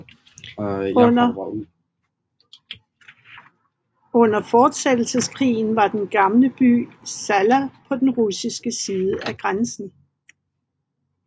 Under Fortsættelseskrigen var den gamle by Salla på den russiske side af grænsen